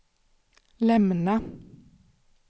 lämna